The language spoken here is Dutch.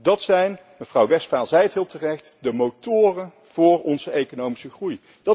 Dat zijn mevrouw Westphal zei het heel terecht de motoren voor onze economische groei.